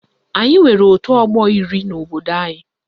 Anyị nwere otu ọgbọ iri n'obodo anyị